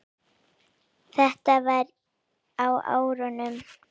Þetta var á árunum